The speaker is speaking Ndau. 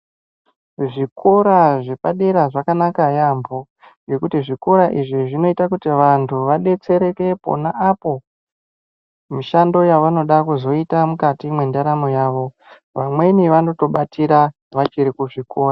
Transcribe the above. Zvikora zvepadera zvakanaka yaambo, ngekuti zvikora izvi zvinoita kuti vantu vadetsereke pona apo mishando yavanoda kuzoita mukati mwendaramo yavo. Vamweni vanotobatira vachiri kuzvikora.